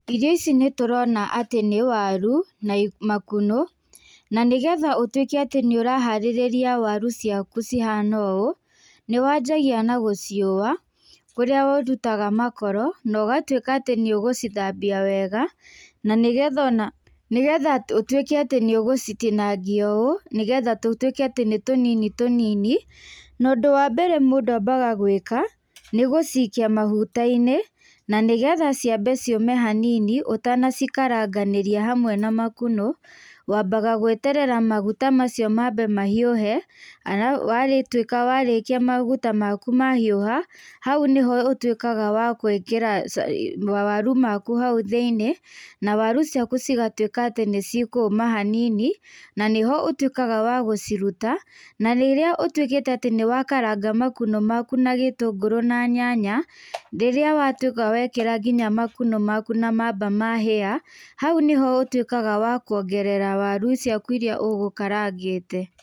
Irio ici nĩtũrona atĩ nĩ waru, na i makunũ, nanĩgetha ũtwĩke atĩ nĩũraharĩrĩria kũrĩa waru ciaku cihana ũũ, nĩwanjagia na gũciũa, kũrĩa ũrutaga makoro, nogatwĩka atĩ nĩũgũcithambia wega, nanĩgetha ona, nĩgetha ũtwĩke atĩ nĩũgũcitinangia ũũ, nĩgetha tũtwĩke atĩ nĩ tũnini tũnini, nondũ wambere mũndũ ambaga gwĩka, nĩgũcikia maguta-inĩ, nanĩgetha ciambe ciũme hanini ũtanacikaranganĩria hamwe na makunũ, wmabaga gweterera maguta macio mambe mahiũhe ara, warĩtwĩ warĩkia maguta maku mahiũha, hau nĩho útwĩkaga wa gwĩkĩra ba, mawaru maku hau thĩ-inĩ, na waru ciaku cigatwĩka atĩ nĩcikũma hanini, nanĩho ũtwĩkaga wa gũciruta, narĩrĩa ũtwĩkĩte atĩ nĩwakaranga makunũ maku na gĩtũngũrũ na nyanya, rĩrĩa watwĩka wekĩra nginya makunũ maku na mahĩa, hau nĩho ũtwĩkaga wa kuongerera waru ciaku iria ũgũkarangĩte.